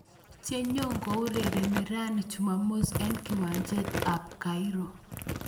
Che nyokourereni rani chumamos eng kiwanjst ab Cairo.